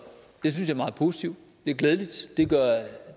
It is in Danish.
det synes jeg er meget positivt det er glædeligt det gør